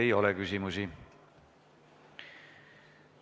Teile ei ole küsimusi.